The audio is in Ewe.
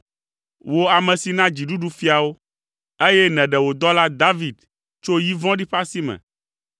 wò ame si na dziɖuɖu fiawo, eye nèɖe wo dɔla David tso yi vɔ̃ɖi ƒe asi me.